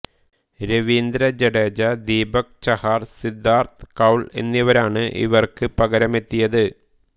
രവീന്ദ്ര ജഡേജ ദീപക് ചഹാർ സിദ്ധാർത്ഥ് കൌൾ എന്നിവരാണ് ഇവർക്ക് പകരമെത്തിയത്